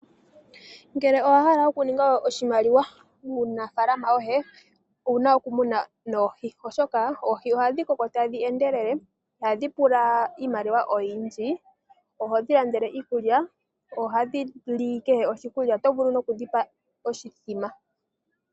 Uuna owa hala okuninga oshimaliwa muunafalama woye owu na okumuna noohi oshoka oohi ohadhi koko tadhi endelele, iha dhi pula iimaliwa oyindji, ohodhi landele iikulya, ohadhi li kehe oshikulya oto vulu nokudhi pa oshimbombo.